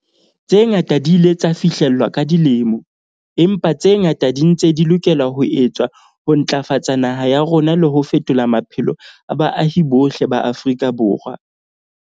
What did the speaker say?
Tse ngata di ile tsa fihlellwa ka dilemo, empa tse ngata di ntse di lokela ho etswa ho ntlafatsa naha ya rona le ho fetola maphelo a baahi bohle ba Afrika Borwa.